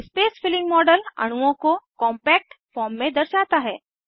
space filling model अणुओं को compact form में दर्शाता है